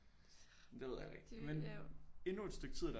Det ved jeg heller ikke men endnu et stykke tid af deres